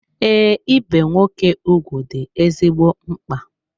Ee, ibe nwoke ugwu dị ezigbo mkpa.